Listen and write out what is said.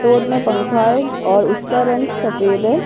Store में पंखा है और उसका रंग सफेद है।